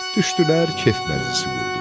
Düşdülər, kef məclisi qurdular.